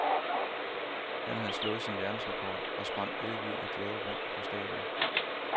Han havde slået sin verdensrekord og sprang ellevild af glæde rundt på stadion.